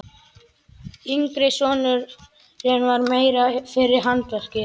Yngri sonurinn var meira fyrir handverkið.